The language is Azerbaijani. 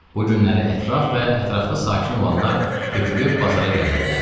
Bu günləri ətraf və ətrafda sakin olanlar tökülüb bazara gələrdilər.